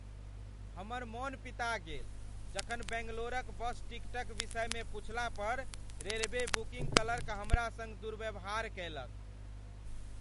हमर मन पिता गेल जखन बैंगलोरक बस टिकटक विषयमे पुछला पर रेलवे बुकिंग क्लर्क हमरा संग दुर्व्यवहार कयलक।